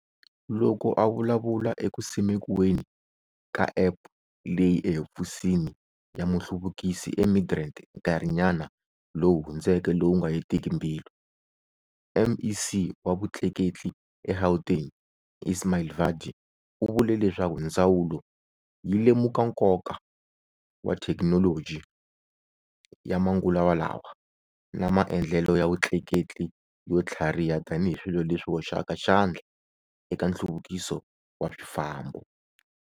Loko a vulavula eku simekiweni ka App leyi ehofisini ya muhluvukisi eMidrand nkarhinyana lowu hundzeke lowu nga hetiki mbilu, MEC wa Vutleketli eGauteng Ismail Vadi u vule leswaku ndzawulo yi lemuka nkoka wa thekinoloji ya manguva lawa na maendlelo ya vutleketli yo tlhariha tanihi swilo leswi hoxaka xandla eka nhluvukiso wa swifambo.